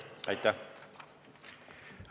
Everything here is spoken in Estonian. Aitäh!